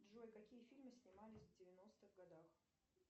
джой какие фильмы снимались в девяностых годах